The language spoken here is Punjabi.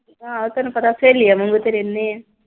ਆਹੋ ਤੈਨੂੰ ਪਤਾ ਸਹੇਲੀਆਂ ਰਹਿੰਦੇ ਆ।